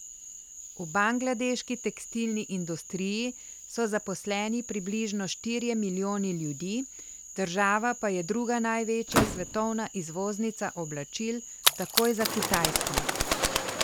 V bangladeški tekstilni industriji so zaposleni približno štirje milijoni ljudi, država pa je druga največja svetovna izvoznica oblačil takoj za Kitajsko.